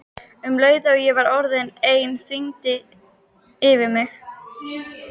Um leið og ég var orðin ein þyrmdi yfir mig.